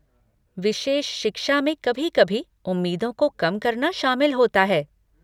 विशेष शिक्षा में कभी कभी उम्मीदों को कम करना शामिल होता है।